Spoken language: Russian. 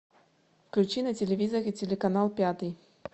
включи на телевизоре телеканал пятый